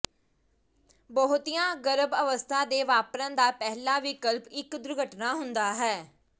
ਬਹੁਤੀਆਂ ਗਰਭ ਅਵਸਥਾ ਦੇ ਵਾਪਰਨ ਦਾ ਪਹਿਲਾ ਵਿਕਲਪ ਇੱਕ ਦੁਰਘਟਨਾ ਹੁੰਦਾ ਹੈ